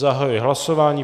Zahajuji hlasování.